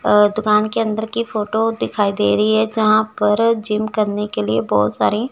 अ दुकान के अंदर की फोटो दिखाई दे रही है जहां पर जिम करने के लिए बोहोत सारी--